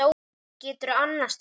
Og geturðu annast hann?